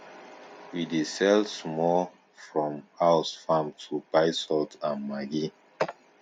we dey sell small from house farm to buy salt and maggi